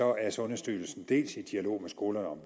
er sundhedsstyrelsen dels i dialog med skolerne om